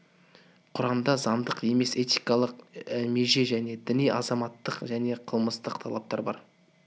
құранда заңдық емес этикалық меже мен діни азаматтық және қылмыстық талаптар бар